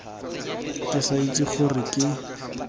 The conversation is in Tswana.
ke sa itse gore ke